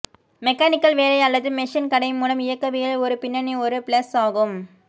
mechanical வேலை அல்லது machine கடை மூலம் இயக்கவியல் ஒரு பின்னணி ஒரு பிளஸ் ஆகும்